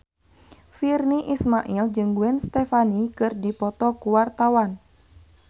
Virnie Ismail jeung Gwen Stefani keur dipoto ku wartawan